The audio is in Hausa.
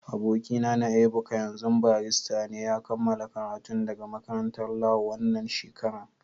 Aboki na Ebuka, yanzun barista ne. Ya kamala karatun daga makarantan Lau wanan shekaran.